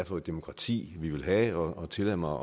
for et demokrati vi vil have tillad mig